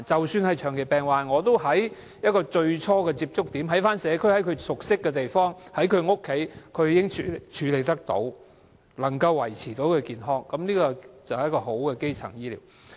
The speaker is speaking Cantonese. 即使是長期病患者也可以在最初的接觸點、在社區、在其熟悉的地方、在其家中處理，能夠維持健康，這便是一個好的基層醫療。